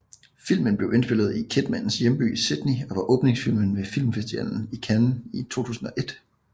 Filmen blev indspillet i Kidmans hjemby Sydney og var åbningsfilmen ved Filmfestivalen i Cannes i 2001